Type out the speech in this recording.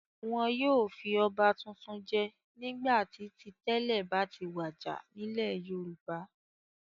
Wọn yóò fi ọba tuntun jẹ nígbà tí ti tẹ́lẹ̀ bá ti wàjà nílẹ̀ Yorùbá.